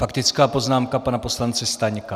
Faktická poznámka pana poslance Staňka.